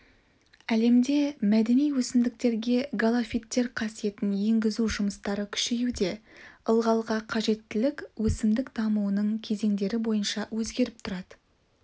әлемде мәдени өсімдіктерге галофиттер қасиетін енгізу жұмыстары күшеюде ылғалға қажеттілік өсімдік дамуының кезеңдері бойынша өзгеріп тұрады